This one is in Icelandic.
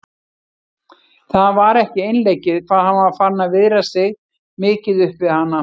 Það var ekki einleikið hvað hann var farinn að viðra sig mikið upp við hana.